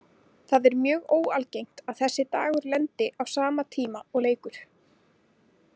Það er mjög óalgengt að þessi dagur lendi á sama tíma og leikur.